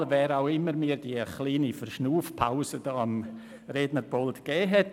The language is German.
Vielen Dank, wer auch immer mir diese kleine Verschnaufpause am Rednerpult verschafft hat.